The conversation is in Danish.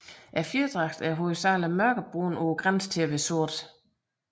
Fjerdragten er hovedsageligt mørkebrun på grænsen til sort